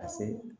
A se